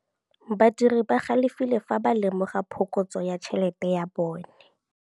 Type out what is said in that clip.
Badiri ba galefile fa ba lemoga phokotsô ya tšhelête ya bone.